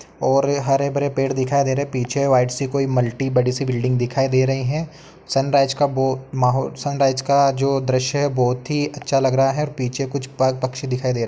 और हरे-भरे पेड़ दिखाई दे रहे हैं। पीछे वाइट सी मल्टी बड़ी सी बिल्डिंग दिखाई दे रही हैं। सनराइज का बो माहोल सनराइज का जो दृश्य है बहोत ही अच्छा लग रहा है और पीछे कुछ पा पक्षी दिखाई दे रहे --